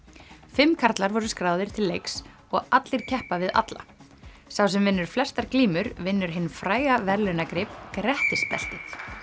fimm karlar voru skráðir til leiks og allir keppa við alla sá sem vinnur flestar glímur vinnur hinn fræga verðlaunagrip Grettisbeltið